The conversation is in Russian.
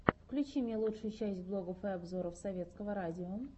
включи мне лучшую часть блогов и обзоров советского радио